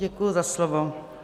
Děkuji za slovo.